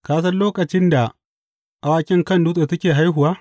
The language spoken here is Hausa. Ka san lokacin da awakin kan dutse suke haihuwa?